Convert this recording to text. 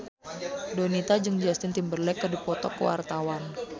Donita jeung Justin Timberlake keur dipoto ku wartawan